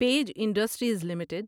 page Industries limited